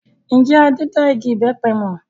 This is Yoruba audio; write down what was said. Ǹjẹ́ Adé da igi ìbẹpẹ mọ?